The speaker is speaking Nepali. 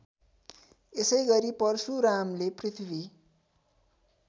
यसैगरी परशुरामले पृथ्वी